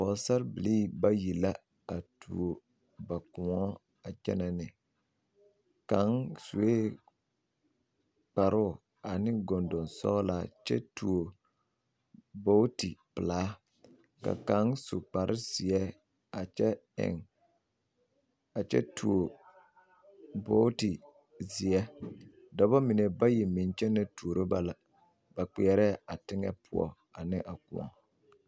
Pɔgesarre bilii bayi la a tuo ba kõɔ a kyɛnɛ ne kaŋ sue kparoo ane gondo sɔglaa kyɛ tuo buuti pelaa ka kaŋ su kpare zeɛ a kyɛ eŋ a kyɛ tuo buuti seɛ dɔbɔ mine bayi meŋ kyɛnɛ tuuro ba la ba kpeɛrɛ a teŋɛ poɔ ane kõɔ.